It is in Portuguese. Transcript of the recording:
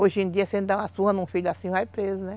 Hoje em dia, você não dá uma surra num filho assim, vai preso, né?